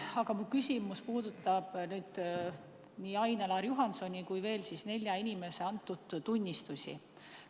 Aga mu küsimus puudutab nii Ain-Alar Juhansoni kui ka veel nelja inimese antud tunnistusi.